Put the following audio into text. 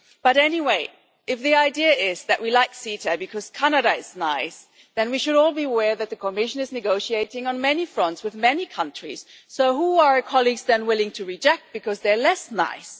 But anyway, if the idea is that we like CETA because Canada is nice, then we should all be aware that the Commission is negotiating on many fronts, with many countries. So who are colleagues then willing to reject because they are less nice?